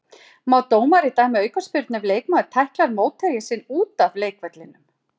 Má dómari dæma aukaspyrnu ef leikmaður tæklar mótherja sinn út af leikvellinum?